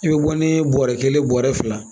I bɛ bɔ ni bɔrɛ kelen ye bɔrɛ fila